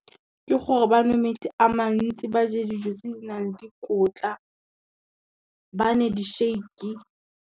Ke gore ba nwe metsi a mantsi, ba je dijo tse di nang le dikotla, ba nwe di-shake.